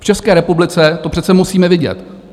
V České republice to přece musíme vidět.